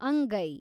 ಅಂಗೈ